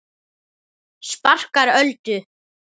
Sparkar Öldu.